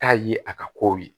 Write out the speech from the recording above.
Taa ye a ka kow ye